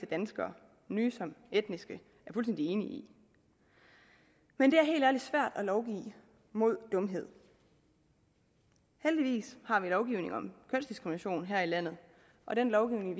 danskere nye som etniske er fuldstændig enige i men det er helt ærligt svært at lovgive mod dumhed heldigvis har vi en lovgivning om kønsdiskrimination her i landet og den lovgivning